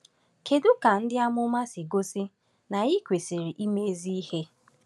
Kedu ka “ndị amụma” si gosi na anyị kwesịrị ime ezi ihe?